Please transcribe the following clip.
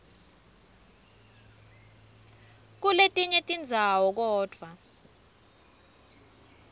kuletinye tindzawo kodvwa